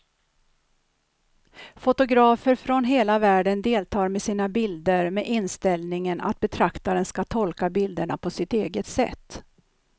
Fotografer från hela världen deltar med sina bilder med inställningen att betraktaren ska tolka bilderna på sitt eget sätt.